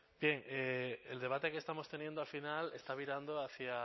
el debate que estamos teniendo al final está virando hacia